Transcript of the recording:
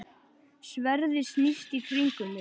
Sverðið snýst í kringum mig.